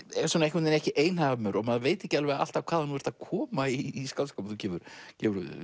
einhvern veginn ekki einhamur og maður veit ekki alltaf hvaðan þú ert að koma í skáldskap þú gefur gefur út